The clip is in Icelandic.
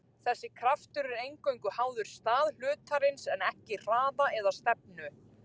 Þessi kraftur er eingöngu háður stað hlutarins en ekki hraða eða stefnu.